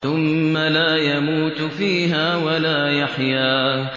ثُمَّ لَا يَمُوتُ فِيهَا وَلَا يَحْيَىٰ